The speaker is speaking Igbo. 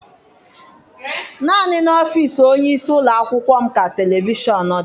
Naanị n'ọfịịsi onyeisi ụlọakwụkwọ m ka televishọn dị.